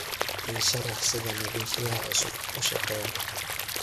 ii sharax sida nadiifiyaha cusubi u shaqeeyo